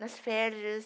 Nas férias.